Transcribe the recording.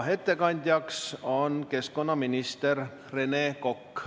Ettekandjaks on keskkonnaminister Rene Kokk.